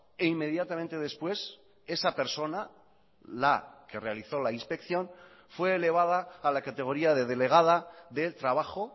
e inmediatamente después esa persona la que realizó la inspección fue elevada a la categoría de delegada del trabajo